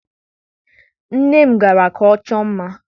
Nne m gara ka ọ chọọ mma.